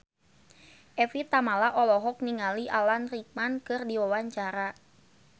Evie Tamala olohok ningali Alan Rickman keur diwawancara